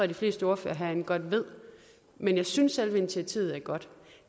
de fleste ordførere herinde godt ved men jeg synes at selve initiativet er godt